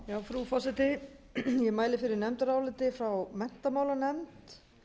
frú forseti ég mæli fyrir nefndaráliti frá menntamálanefnd